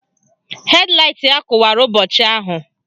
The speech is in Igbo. Hed laịt ya kụwara ụbọchị ahụ